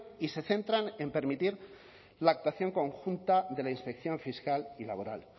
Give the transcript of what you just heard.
y se centran en permitir la actuación conjunta de la inspección fiscal y laboral